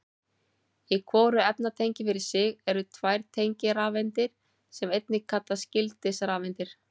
Í hvoru efnatengi fyrir sig eru tvær tengirafeindir sem einnig kallast gildisrafeindir.